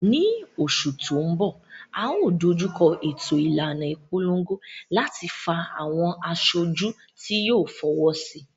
Ní oṣù tó ń bọ̀, a ó dojú kọ ètò ìlànà ìpolongo láti fa àwọn aṣojú tí yóò fọwọ́sí